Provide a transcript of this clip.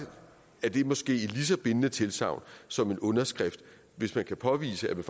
er det måske et lige så bindende tilsagn som en underskrift hvis man kan påvise at man